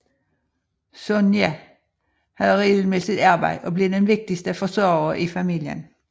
Sonya havde regelmæssigt arbejde og blev den vigtigste forsørger i familien